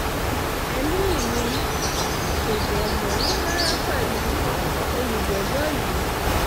ẹ̀mí mi kò dé mọ́ rárá pẹ̀lú olùjẹ́jọ́ yìí